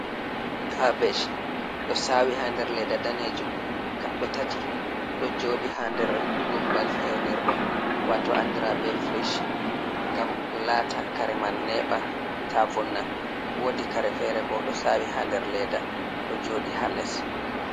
Kabej, ɗo saawi haa nder leeda daneejum kaɓɓe tati. Ɗo jooɗi haa nder gumbal fewnirɗum waato andira be frij, ngam laata kare man neeɓa ta vonna, woodi kare fere bo ɗo saawi haa nder leeda ɗo jooɗi haa les.